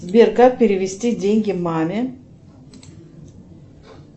сбер как перевести деньги маме